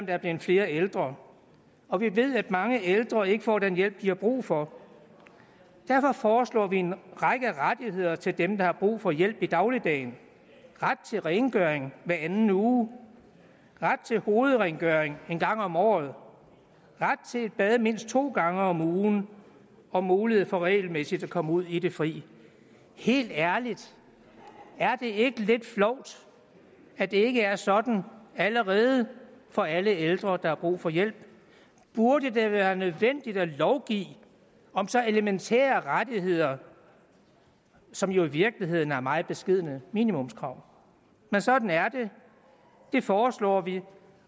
er blevet flere ældre og vi ved at mange ældre ikke får den hjælp de har brug for derfor foreslår vi en række rettigheder til dem der har brug for hjælp i dagligdagen ret til rengøring hver anden uge ret til hovedrengøring en gang om året ret til et bad mindst to gange om ugen og mulighed for regelmæssigt at komme ud i de fri helt ærligt er det ikke lidt flovt at det ikke er sådan allerede for alle ældre der har brug for hjælp burde det være nødvendigt at lovgive om så elementære rettigheder som jo i virkeligheden er meget beskedne det minimumskrav men sådan er det det foreslår vi